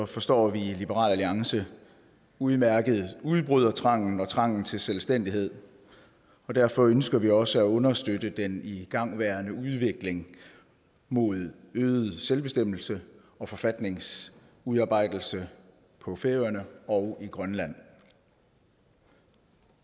forstår vi i liberal alliance udmærket udbrydertrangen og trangen til selvstændighed og derfor ønsker vi også at understøtte den igangværende udvikling mod øget selvbestemmelse og forfatningsudarbejdelse på færøerne og i grønland